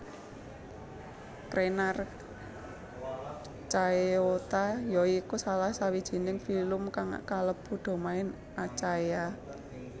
Crenarchaeota ya iku salah sawijining filum kang kalebu domain Archaea